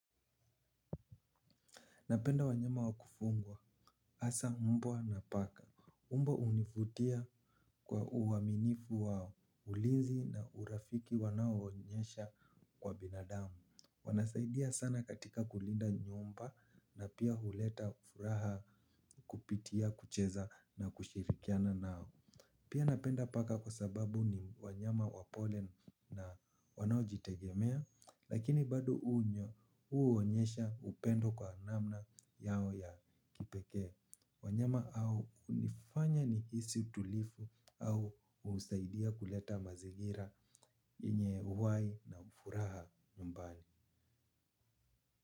Napenda wanyama wa kufungwa. Hasa mbwa na paka. Umbo hunivutia kwa uaminifu wao. Ulinzi na urafiki wanao onyesha kwa binadamu. Wanasaidia sana katika kulinda nyumba na pia huleta furaha kupitia kucheza na kushirikiana nao. Pia napenda paka kwa sababu ni wanyama wapole na wanaojitegemea. Lakini bado uonyesha upendo kwa namna yao ya kipekee. Wanyama au unifanya ni hisi utulivu au husaidia kuleta mazingira yenye uhai na furaha nyumbani.